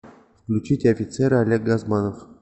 включить офицеры олег газманов